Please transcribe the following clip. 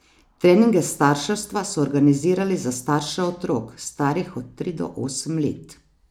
Treninge starševstva so organizirali za starše otrok, starih od tri do osem let.